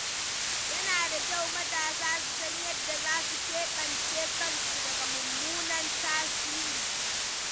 Yana da kyau matasa su san yadda za su keɓance kansu daga mummunan tasiri.